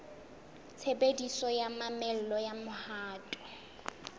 tshebediso ya mamello ya mohato